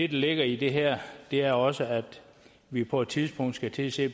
ligger i det her er også at vi på et tidspunkt skal til at se